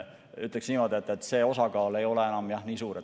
Ütleks niimoodi, et see osakaal ei ole enam jah nii suur.